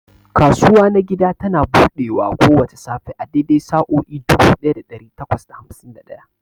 Kasuwa na gida tana buɗewa kowace safe a daidai sa'o'i dubu ɗaya da ɗari takwas da hamsin da ɗaya.